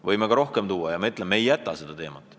Võime ka rohkem tuua ja ma ütlen, et me ei jäta seda teemat.